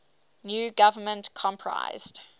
new government comprised